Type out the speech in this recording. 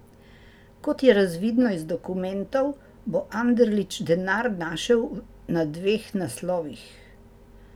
Kot je razvidno iz dokumentov, bo Anderlič denar našel na dveh naslovih.